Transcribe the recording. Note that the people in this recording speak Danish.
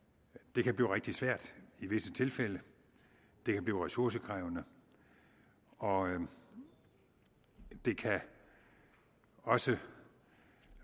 det kan blive rigtig svært i visse tilfælde det kan blive ressourcekrævende og det kan også